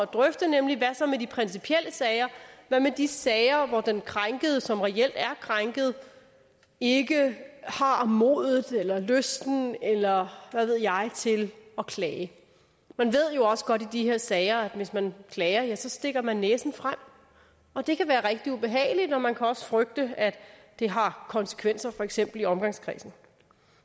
drøfte nemlig hvad så med de principielle sager hvad med de sager hvor den krænkede som reelt er krænket ikke har modet eller lysten eller hvad ved jeg til at klage man ved jo også godt i de her sager at hvis man klager så stikker man næsen frem og det kan være rigtig ubehageligt og man kan også frygte at det har konsekvenser for eksempel i omgangskredsen